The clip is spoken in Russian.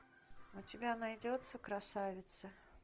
у тебя найдется красавица